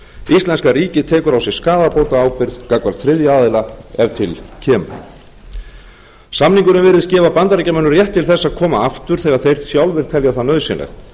íslenska ríkið tekur á sig skaðabótaábyrgð gagnvart þriðja aðila ef til kemur samningurinn virðist gefa bandaríkjamönnum rétt til þess að koma aftur þegar þeir sjálfir telja það nauðsynlegt